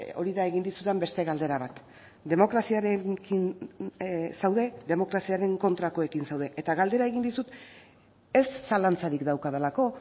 hori da egin dizudan beste galdera bat demokraziarekin zaude demokraziaren kontrakoekin zaude eta galdera egin dizut ez zalantzarik daukadalako